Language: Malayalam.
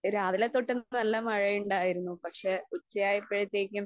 രാവിലെതൊട്ട് നല്ല മഴയുണ്ടായിരുന്നു. പക്ഷെ, ഉച്ചയായപ്പോഴത്തേക്കും